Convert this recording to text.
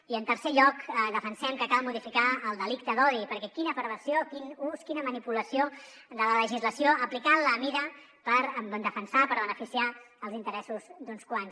i en tercer lloc defensem que cal modificar el delicte d’odi perquè quina perversió quin ús quina manipulació de la legislació aplicant la mida per defensar per beneficiar els interessos d’uns quants